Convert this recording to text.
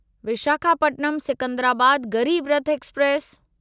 Visakhapatnam Secunderabad Garib Rath express